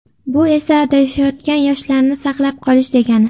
Bu esa adashayotgan yoshlarni saqlab qolish, degani.